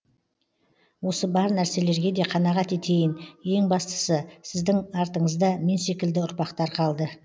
осы бар нәрселерге де қанағат етейін ең бастысы сіздің артынызда мен секілді ұрпақтар қалды